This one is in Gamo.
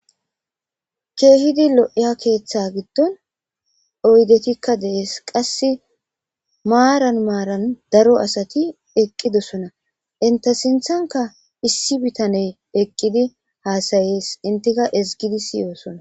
Kehidi loiya keeththa gidon oyidetika deasi qasi maran maran daro asati eqidosona ente sintanika issi bitane eqidi hasayes entika ezigidi siyosona.